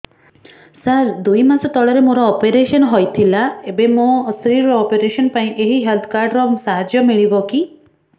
ସାର ଦୁଇ ମାସ ତଳରେ ମୋର ଅପେରସନ ହୈ ଥିଲା ଏବେ ମୋ ସ୍ତ୍ରୀ ର ଅପେରସନ ପାଇଁ ଏହି ହେଲ୍ଥ କାର୍ଡ ର ସାହାଯ୍ୟ ମିଳିବ କି